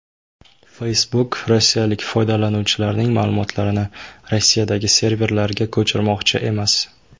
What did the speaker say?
Facebook rossiyalik foydalanuvchilarning ma’lumotlarini Rossiyadagi serverlarga ko‘chirmoqchi emas.